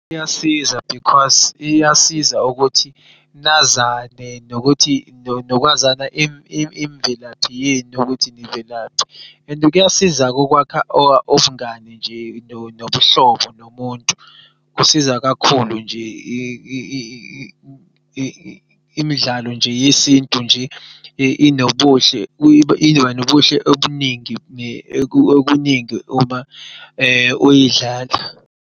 Kuyasiza because iyasiza ukuthi nazane nokuthi nokwazana imvelaphi yenu ukuthi nivelaphi and kuyasizaku'kwakha ubungani nje nobuhlobo nomuntu. Kusiza kakhulu nje, imidlalo nje yesintu nje inobuhle obuningi uma uyidlala.